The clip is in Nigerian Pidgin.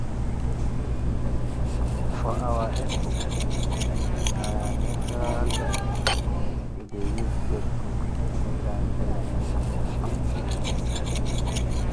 for our eco-centre na natural gas we dey use take cook anytime training dey go on.